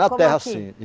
terra assim.